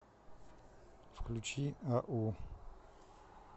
включи ау